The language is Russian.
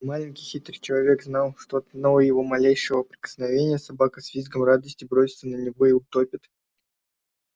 маленький хитрый человек знал что от одного его малейшего прикосновения собака с визгом радости бросится на него и утопит